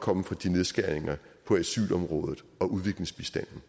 komme fra nedskæringer på asylområdet og udviklingsbistanden